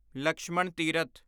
Lakshman Tirath